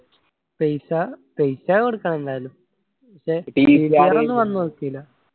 paisa കൊടുക്കണം എന്തായാലും പ്രശ്‌നില്ല.